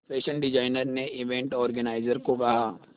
fashion designer ने event organiser को कहा